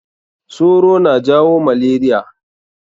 Soro na jawo malaria.